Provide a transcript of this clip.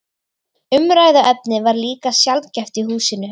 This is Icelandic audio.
Umræðuefnið var líka sjaldgæft í húsinu.